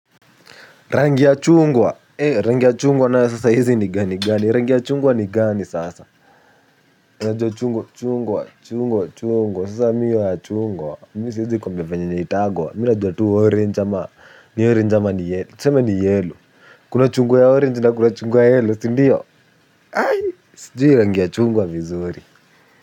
Rangi ya chungwa rangi ya chungwa nayo sasa hizi ni gani gani rangi ya chungwa ni gani sasa unajua chungwa chungwa chungwa chungwa sasa mimi hiyo ya chungwa mimi siwezi kuambia vyenye inaitangwa mimi najua tu orange ama ni orange ama ni yellow tuseme ni yellow kuna chungwa ya orange na kuna chungwa ya yellow sindio sijui rangi ya chungwa vizuri.